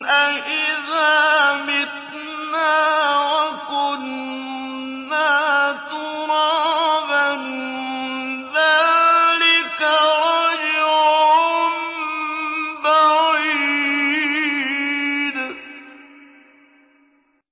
أَإِذَا مِتْنَا وَكُنَّا تُرَابًا ۖ ذَٰلِكَ رَجْعٌ بَعِيدٌ